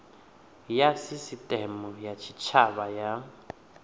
ya sisiteme ya tshitshavha na